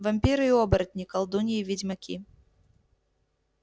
вампиры и оборотни колдуньи и ведьмаки